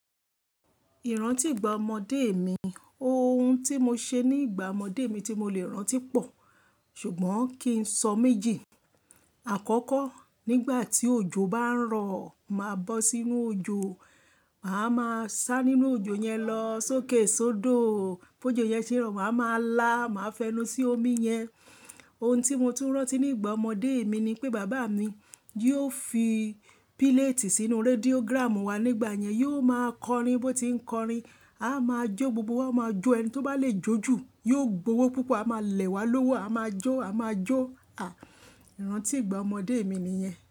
Ìrántì ìgbà ọmọdé mi, ohun tí mo ṣe ní ìgbà ọmọdé mi tí mo lè rántí pọ̀, ṣùgbọ́n kí n sọ méjì. Àkọ́kọ́, nígbà tí òjò bá ń rọ̀, màá bọ́ sínú òjò, màá máa sá nínú òjò yẹn lọ sókè sódò. Bó jó yẹn ṣe ń rọ̀, màá ma lá, màá fẹnu sí omi yẹn. Ohun tí mo tún rántí nígbà ọmọdé mi ni pé bàbá mi yóò fi píléètì sínú rẹ́díógrámù wá nígbà yẹn. Yóò máa kọrin, bó ti ń kọrin, a máa jó, gbogbo wa máa jó. Ẹni tí ó bá lè jó jù yóò gbowó púpọ̀, a máa lẹ̀ wá lówó, a máa jó, a máa jó. À, ìrántí ìgbà ọmọdé mi nìyẹn.